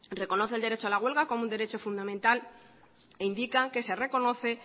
reconoce el derecho a la huelga como un derecho fundamental e indica que se reconocen